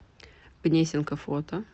гнесинка фото